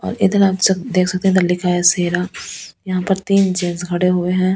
और इधर आप देख सकते हैं इधर लिखा हैसेरा यहां पर तीन जेंस खड़े हुए हैं।